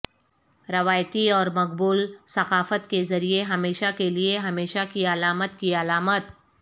روایتی اور مقبول ثقافت کے ذریعہ ہمیشہ کے لئے ہمیشہ کی علامت کی علامت